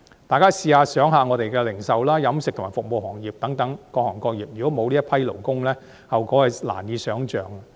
大家試想想，我們的零售、飲食及服務行業等各行各業，如果沒有這群勞工，後果實在難以想象。